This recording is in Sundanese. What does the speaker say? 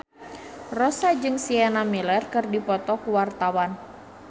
Rossa jeung Sienna Miller keur dipoto ku wartawan